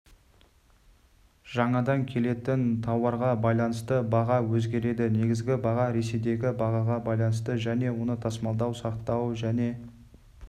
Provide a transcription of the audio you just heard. жаңадан келетін тауарға байланысты баға өзгереді негізгі баға ресейдегі бағаға байланысты және оны тасымалдау сақтау және